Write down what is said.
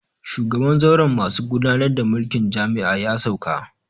Shugaban zauren masu gudanar da mulkin jami'a ya sauka